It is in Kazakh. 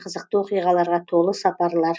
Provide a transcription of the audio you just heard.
қызықты оқиғаларға толы сапарлар